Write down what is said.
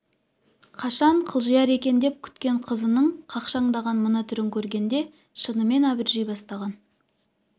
қашан қылжияр екен деп күткен қызының қақшаңдаған мына түрін көргенде шынымен абыржи бастаған